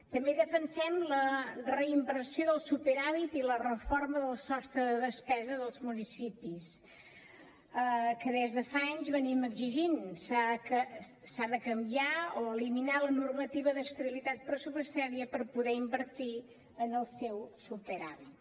també defensem la reinversió del superàvit i la reforma del sostre de despesa dels municipis que des de fa anys venim exigint s’ha de canviar o eliminar la normativa d’estabilitat pressupostària per poder invertir amb el seu superàvit